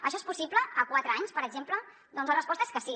això és possible a quatre anys per exemple doncs la resposta és que sí